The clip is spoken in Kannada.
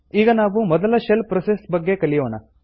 ಈಗ ನಾವು ಮೊದಲ ಶೆಲ್ ಪ್ರೋಸೆಸ್ ಬಗ್ಗೆ ಕಲಿಯೋಣ